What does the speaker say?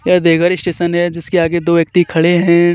ये देवघर स्टेशन हे जिसके आगे दो व्यक्ति खड़े हे.